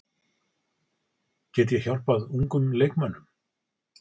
Get ég hjálpað ungum leikmönnum?